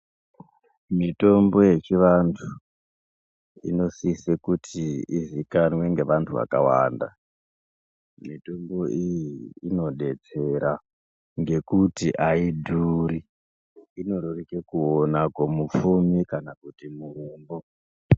Mitombo yechivantu inosise kuti izikanwe ngevantu vakawanda, mitombo iyi inodetsera ngekuti ayidhuri, inoreruke kuwona kumupfumi kana kuti murombo.